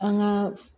An ka